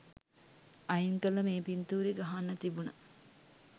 අයින් කරල මේ පින්තූරෙ ගහන්න තිබුන.